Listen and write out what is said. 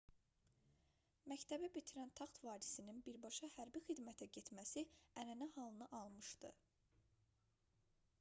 məktəbi bitirən taxt varisinin birbaşa hərbi xidmətə getməsi ənənə halını almışdı